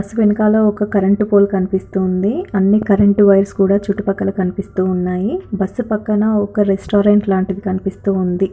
Bus వెనకాల ఒక current pole కనిపిస్తూ ఉంది. అన్ని కరెంట్ వైర్స్ కూడా చుట్టు పక్కల కనిపిస్తూ ఉన్నాయి. బస్ పక్కన ఒక రెస్టారెంట్ లాంటిది కనిపిస్తూ ఉంది.